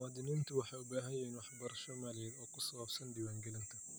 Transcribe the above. Muwaadiniintu waxay u baahan yihiin waxbarasho maaliyadeed oo ku saabsan diiwaangelinta.